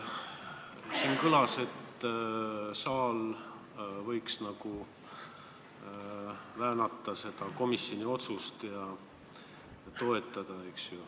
Siin kõlas ettepanek, et saal võiks komisjoni otsust väänata ja eelnõu edasist menetlemist toetada.